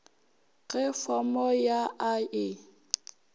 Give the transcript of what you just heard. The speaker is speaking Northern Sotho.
ge fomo ya a e